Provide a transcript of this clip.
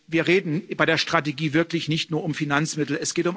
Wir reden bei der Strategie wirklich nicht nur über Finanzmittel.